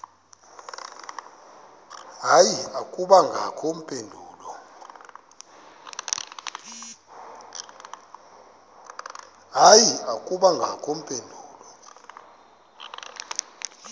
hayi akubangakho mpendulo